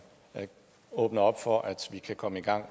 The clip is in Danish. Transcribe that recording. åbner op for at vi kan komme i gang